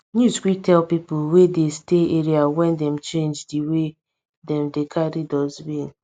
news quick tell people wey dey stay area wen dem change di way dem take dey carry dustbin